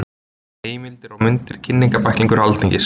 Heimildir og myndir Kynningarbæklingur Alþingis.